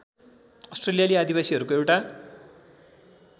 अस्ट्रेलियाली आदिवासीहरूको एउटा